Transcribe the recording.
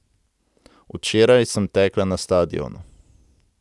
Včeraj sem tekla na stadionu.